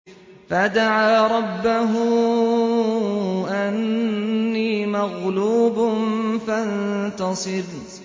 فَدَعَا رَبَّهُ أَنِّي مَغْلُوبٌ فَانتَصِرْ